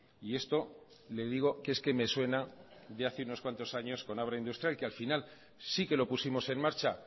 y esto le digo que es que me suena de hace unos cuantos años con abra industrial que al final sí que lo pusimos en marcha